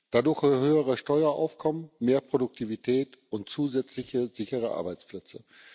Dadurch erhalten wir höhere Steueraufkommen, mehr Produktivität und zusätzliche, sichere Arbeitsplätze.